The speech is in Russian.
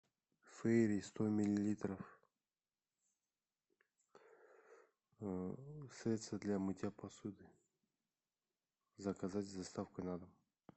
фейри сто миллилитров средство для мытья посуды заказать с доставкой на дом